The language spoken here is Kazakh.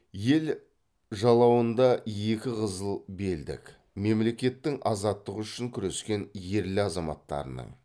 ел жалауындағы екі қызыл белдік мемлекеттің азаттығы үшін күрескен ерлі азаматтарының